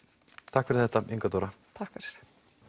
takk fyrir þetta Inga Dóra takk fyrir